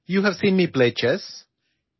ഞാൻ ചെസ്സ് കളിക്കുന്നത് നിങ്ങൾ കണ്ടിട്ടുണ്ട്